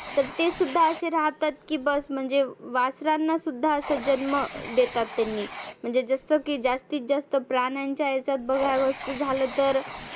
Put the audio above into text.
तर ते सुध्दा असे राहतात की बस म्हणजे वासरांना सुध्दा आसा जन्म देतात त्यांनी. म्हणजे जसं की जास्तीत जास्त प्राण्यांंच्या ह्याच्यात बघावंंस झालं.